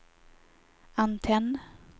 antenn